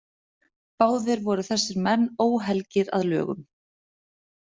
Báðir voru þessir menn óhelgir að lögum.